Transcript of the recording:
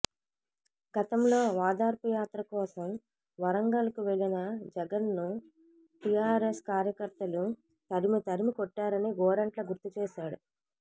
గతంలో ఓదార్పుయాత్ర కోసం వరంగల్ కు వెళ్లిన జగన్ ను టీఆర్ఎస్ కార్యకర్తలు తరిమితరిమి కొట్టారని గోరంట్ల గుర్తుచేశారు